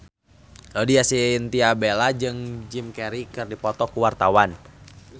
Laudya Chintya Bella jeung Jim Carey keur dipoto ku wartawan